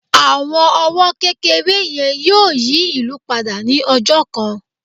àwọn owó kékeré yẹn yíò yí ìlú pada ni ọjọ kan